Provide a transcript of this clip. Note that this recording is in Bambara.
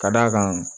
Ka d'a kan